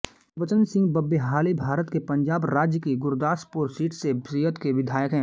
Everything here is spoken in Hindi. गुरबचन सिंह बब्बेहाली भारत के पंजाब राज्य की गुरदासपुर सीट से शिअद के विधायक हैं